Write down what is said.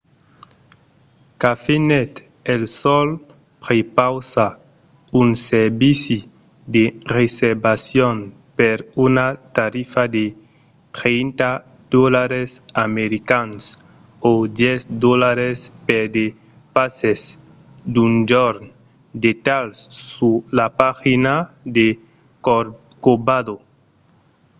cafenet el sol prepausa un servici de reservacion per una tarifa de 30$ americans o 10$ per de passes d'un jorn; detalhs sus la pagina de corcovado